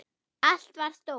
Allt var stórt.